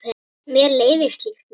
Mér leiðist slíkt mikið.